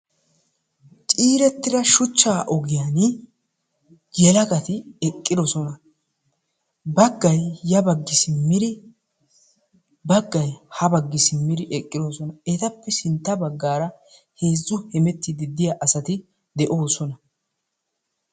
Ciirettida shuchchaa ogiyani yelagaati eqqidosona baggay ya baggi simmidi baggay ha baggi simmidi eqqidosona. Etappe sintta baggaara heezzu hemettiidi de'iya asati de'oosona.